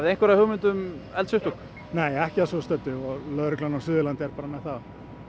einhverja hugmynd um eldsupptök nei ekki að svo stöddu og lögreglan á Suðurlandi er bara með það